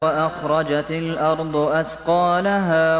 وَأَخْرَجَتِ الْأَرْضُ أَثْقَالَهَا